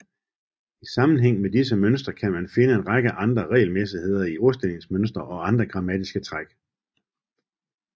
I sammenhæng med disse mønstre kan man finde en række andre regelmæssigheder i ordstillingsmønstre og andre grammatiske træk